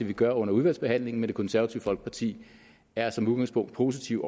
vi gør under udvalgsbehandlingen det konservative folkeparti er som udgangspunkt positivt